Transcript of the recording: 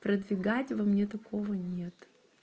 продвигать у меня такого нет